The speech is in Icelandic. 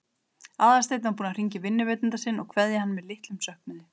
Aðalsteinn var búinn að hringja í vinnuveitanda sinn og kveðja hann með litlum söknuði.